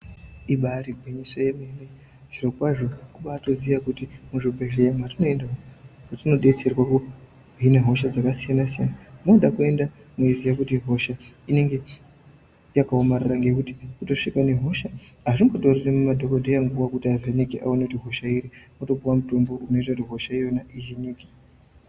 Ibari gwinyiso yemene zviro kwazvo kubaiziya kuti muzvibhehleya matinoenda umo matinodetserwa tine hosha dzakasiyana siyana munoda enda uchiziya Kuti hosha inenge yakaomarara ngekuti kungozvika nehosha azvimbotoreri madhokodheya nguva kuti avheneke aone kuti hosha iyi wotopuwa mutombo unoita kuti hosha iyona ihinike.